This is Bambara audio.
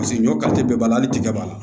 Paseke ɲɔ kari bɛɛ b'a la hali tigɛ b'a la